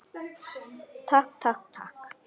Takk, takk, takk.